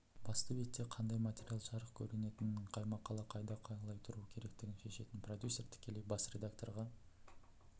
басты бетте қандай материал жарық көретінін қай мақала қайда қалай тұру керектігін шешетін продюсер тікелей бас редакторға